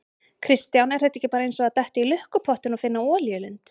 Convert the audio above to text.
Kristján: Er þetta ekki bara eins og að detta í lukkupottinn og finna olíulind?